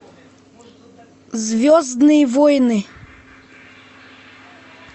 звездные войны